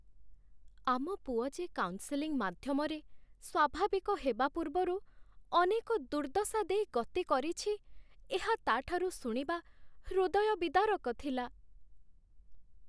ଆମ ପୁଅ ଯେ କାଉନ୍‌ସେଲିଂ ମାଧ୍ୟମରେ ସ୍ୱାଭାବିକ ହେବା ପୂର୍ବରୁ ଅନେକ ଦୁର୍ଦ୍ଦଶା ଦେଇ ଗତି କରିଛି, ଏହା ତା'ଠାରୁ ଶୁଣିବା ହୃଦୟ ବିଦାରକ ଥିଲା ।